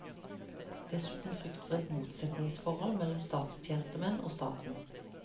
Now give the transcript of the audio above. Dessuten frykt for et motsetningsforhold mellom statstjenestemenn og staten.